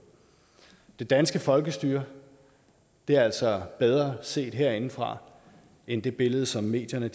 det danske folkestyre er altså bedre set herindefra end det billede som medierne